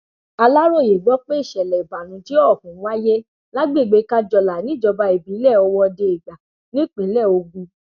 aláròye gbọ pé ìṣẹlẹ ìbànújẹ ọhún wáyé lágbègbè kájọlà níjọba ìbílẹ ọwọdeègbà nípínlẹ ogun